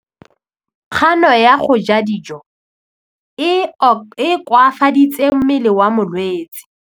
Kganô ya go ja dijo e koafaditse mmele wa molwetse.